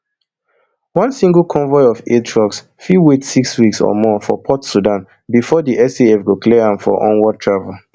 one single convoy of aid trucks fit wait six weeks or more for port sudan bifor di saf go clear am for onward travel